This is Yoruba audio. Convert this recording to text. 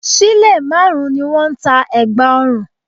Sílè márùn-ún ni wọ́n ń ta ẹ̀gbà ọrùn